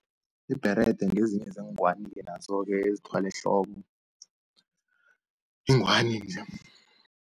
Ibherede ngezinye zeengwani-ke nazo-ke ezithwalwa ehloko, ingwani-ke.